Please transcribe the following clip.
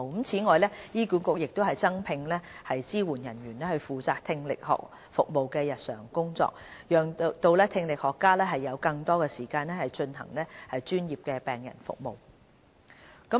此外，醫管局也增聘支援人員負責聽力學服務的日常工作，讓聽力學家有更多時間進行專業的病人服務。